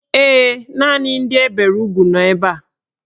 Ee, naanị ndị e bere ugwu nọ ebe a.